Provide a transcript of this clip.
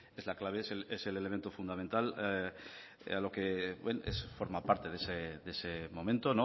es la clave es el elemento fundamental lo que forma parte de ese momento